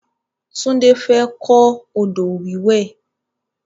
Tunde fẹ́ kọ odò wíwẹ̀